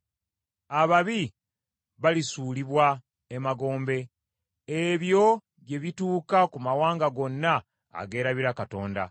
Ababi balisuulibwa emagombe; ebyo bye bituuka ku mawanga gonna ageerabira Katonda.